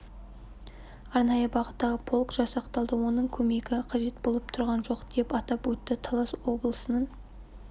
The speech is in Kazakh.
арнайы бағыттағы полк жасақталды оның көмегі қажет болып тұрған жоқ деп атап өтті талас облысының